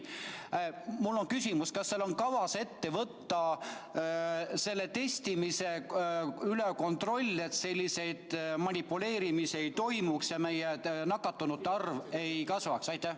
Mul on küsimus: kas teil on kavas testimise üle kontroll võtta, et selliseid manipuleerimisi toimuks ja meie nakatunute arv nii palju ei kasvaks?